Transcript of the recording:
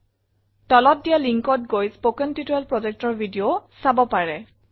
তলত দিয়া linkত গৈ স্পোকেন টিউটৰিয়েল projectৰ ভিডিও চাব পাৰে